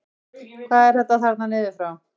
Hvað er þetta þarna niður frá?